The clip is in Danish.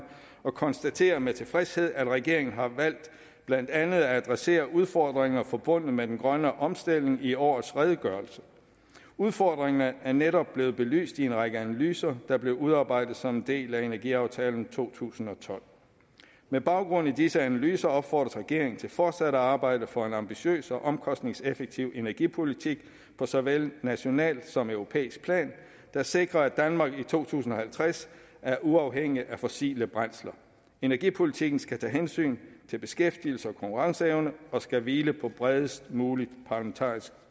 og konstaterer med tilfredshed at regeringen har valgt blandt andet at adressere udfordringerne forbundet med den grønne omstilling i årets redegørelse udfordringerne er netop blevet belyst i en række analyser der blev udarbejdet som en del af energiaftalen fra to tusind og tolv med baggrund i disse analyser opfordres regeringen til fortsat at arbejde for en ambitiøs og omkostningseffektiv energipolitik på såvel nationalt som europæisk plan der sikrer at danmark i to tusind og halvtreds er uafhængig af fossile brændsler energipolitikken skal tage hensyn til beskæftigelse og konkurrenceevne og skal hvile på bredest muligt parlamentarisk